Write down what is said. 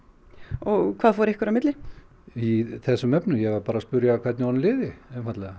og hvað fór ykkur á milli í þessum efnum ég var bara að spyrja hvernig honum liði einfaldlega